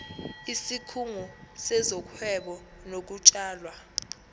isikhungo sezohwebo nokutshalwa